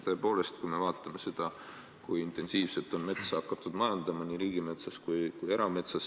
Tõepoolest, vaatame, kui intensiivselt on metsa hakatud majandama nii riigimetsas kui ka erametsas.